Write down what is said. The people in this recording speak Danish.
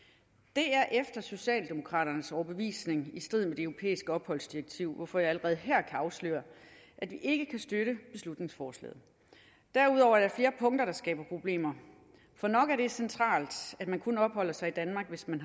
det er efter socialdemokraternes overbevisning i strid med det europæiske opholdsdirektiv hvorfor jeg allerede her kan afsløre at vi ikke kan støtte beslutningsforslaget derudover er der flere punkter der skaber problemer for nok er det centralt at man kun opholder sig i danmark hvis man